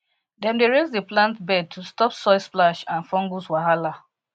dem dey raise the plant bed to stop soil splash and fungus wahala